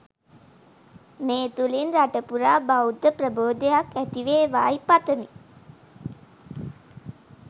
මේ තුළින් රටපුරා බෞද්ධ ප්‍රබෝධයක් ඇතිවේවායි පතමි